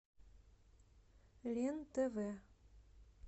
лен тв